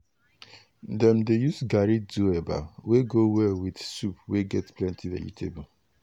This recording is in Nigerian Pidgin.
na pikin dey fetch water while old people dey direct wetin dey go cook during big celebration.